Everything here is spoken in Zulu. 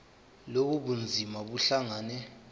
lobu bunzima buhlangane